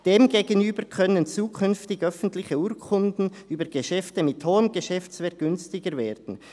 Demgegenüber können zukünftig öffentliche Urkunden über Geschäfte mit hohem Geschäftswert günstiger werden.